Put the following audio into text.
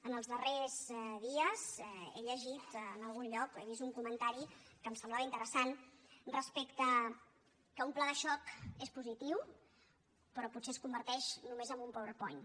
en els darrers dies he llegit en algun lloc o he vist un comentari que em semblava interessant respecte al fet que un pla de xoc és positiu però potser es converteix només en un powerpoint